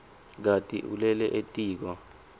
kati ulele etiko